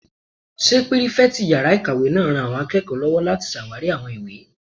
Ṣé pírífẹ̀tì yàrá-ìkàwé náà ran àwọn akẹ́kọ̀ọ́ lọ́wọ́ láti ṣàwarí àwọn ìwé?